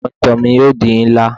Awọn itan mi yoo di nla